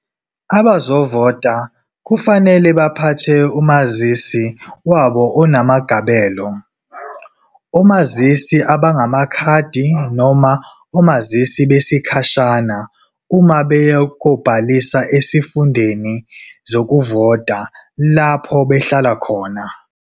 Abazovota kufanele baphathe umazisi wabo onamagabelo, omazisi abangamakhadi noma omazisi besikhashana uma beya kobhalisa esifundeni zokuvota lapho behlala khona.